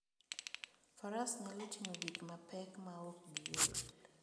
Faras nyalo ting'o gik mapek maok giol.